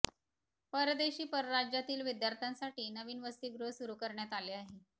परदेशी व परराज्यातील विद्यार्थ्यांसाठी नवीन वसतिगृह सुरू करण्यात आले आहे